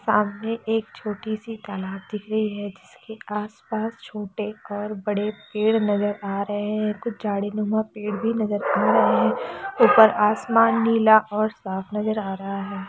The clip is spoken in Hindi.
सामने एक छोटी सी तालाब दिख रही है जिसके आस पास छोटे और बड़े पेड़ नजर आ रहे है कुछ झाडीनुमा पेड़ भी नजर आ रहे है ऊपर आसमान नीला और साफ नजर आ रहा है।